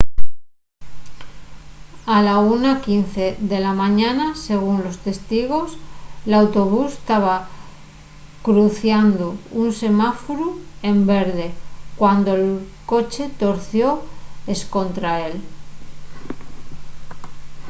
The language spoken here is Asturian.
a la 1:15 de la mañana según los testigos l’autobús taba cruciando un semáforu en verde cuando’l coche torció escontra él